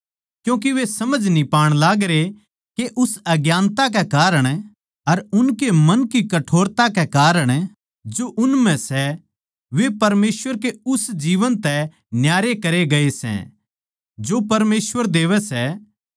क्यूँके वे समझ न्ही पाण लागरे के उस अज्ञानता कै कारण अर उनके मन की कठोरता कै कारण जो उन म्ह सै वे परमेसवर के उस जीवन तै न्यारे करे गए सै जो परमेसवर देवै सै